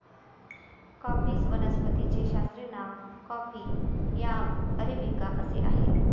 coffee वनस्पतीचे शास्त्रीय नाव कॉफी या अरेबिका असे आहे